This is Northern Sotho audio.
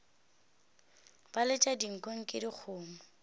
ba letša dinko eke dikgomo